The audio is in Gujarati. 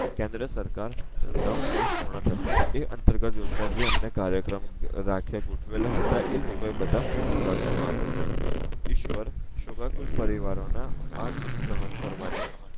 કેન્દ્ર સરકાર નવ વર્ષ પૂર્ણ થતાં એ અંતર્ગત યોજના જે એમને કાર્યક્રમ રખિયા ગોઠવેલા હતા એ લોકો એબધા મોકૂફ રાખવા માં આવિયા છે ઈશ્વર શોકાગુલ પરિવારો ના આ દુખ સહન કરવાની